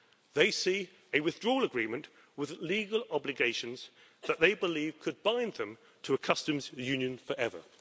They see a withdrawal agreement with legal obligations that they believe could bind them to a customs union forever.